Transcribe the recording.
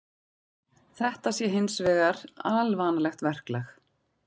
Þetta sé hins vegar alvanalegt verklag